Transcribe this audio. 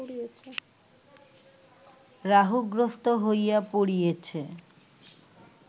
রাহুগ্রস্ত হইয়া পড়িয়েছে